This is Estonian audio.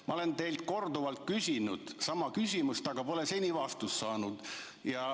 Ma olen teilt korduvalt küsinud üht ja sama küsimust, aga pole seni vastust saanud.